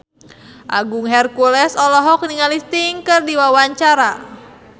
Agung Hercules olohok ningali Sting keur diwawancara